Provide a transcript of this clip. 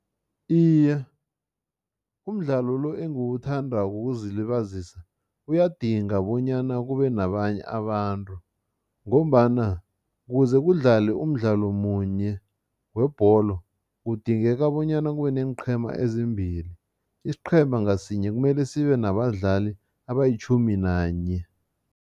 Iye, umdlalo lo engiwuthandako wokuzilibazisa uyadinga bonyana kube nabanye abantu ngombana kuze kudlalwe umdlalo munye webholo, kudingeka bonyana kube neenqhema ezimbili. Isiqhema ngasinye kumele sibe nabadlali abayitjhumi nanye.